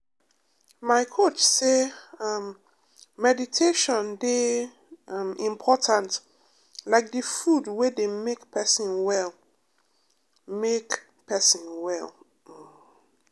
my coach say um meditation dey um important like the food wey dey make person well. make person well. um